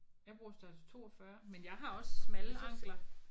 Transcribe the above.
Jeg bruger størrelse 42 men jeg har også smalle ankler